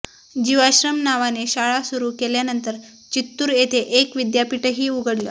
जीवाश्रम नावाने शाळा सुरू केल्यानंतर चित्तूर इथं एक विद्यापीठही उघडलं